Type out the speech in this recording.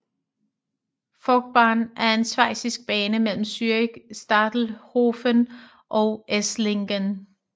Forchbahn er en schweizisk bane mellem Zürich Stadelhöfen og Esslingen